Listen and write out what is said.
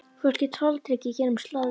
Fólk er tortryggið hér um slóðir